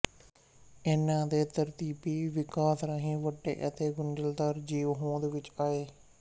ਇਨ੍ਹਾਂ ਦੇ ਤਰਤੀਬੀ ਵਿਕਾਸ ਰਾਹੀਂ ਵੱਡੇ ਅਤੇ ਗੁੰਝਲਦਾਰ ਜੀਵ ਹੋਂਦ ਵਿੱਚ ਆਏ